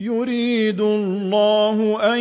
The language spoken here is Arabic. يُرِيدُ اللَّهُ أَن